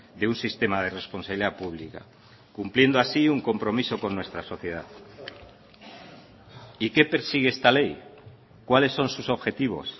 de un sistema de responsabilidad pública cumpliendo así un compromiso con nuestra sociedad y qué persigue esta ley cuáles son sus objetivos